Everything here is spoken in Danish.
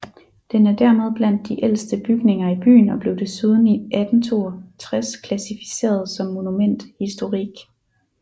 Den er dermed blandt de ældste bygninger i byen og blev desuden i 1862 klassificeret som monument historique